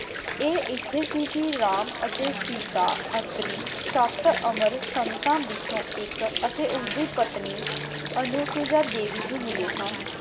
ਇਹ ਇੱਥੇ ਸੀ ਕਿ ਰਾਮ ਅਤੇ ਸੀਤਾ, ਅਤਰੀ, ਸੱਤ ਅਮਰ ਸੰਤਾਂ ਵਿਚੋਂ ਇੱਕ ਅਤੇ ਉਸ ਦੀ ਪਤਨੀ ਅਨੁਸੂਯਾ ਦੇਵੀ ਨੂੰ ਮਿਲੇ ਸਨ।